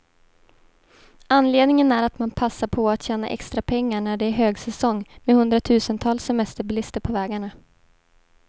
Anledningen är att man passar på att tjäna extra pengar, när det är högsäsong med hundratusentals semesterbilister på vägarna.